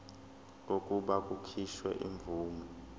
kokuba kukhishwe imvume